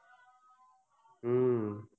हम्म